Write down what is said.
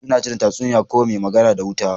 Kullun ina tuna tatsuniya Kwai mai magana da wuta.